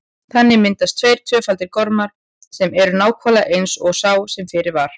Þannig myndast tveir tvöfaldir gormar sem eru nákvæmlega eins og sá sem fyrir var.